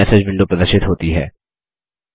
new message विडों प्रदर्शित होती है